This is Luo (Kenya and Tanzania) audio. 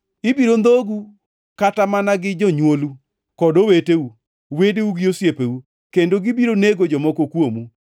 Ibiro ndhogu kata mana gi jonywolu kod oweteu, wedeu gi osiepeu, kendo gibiro nego jomoko kuomu.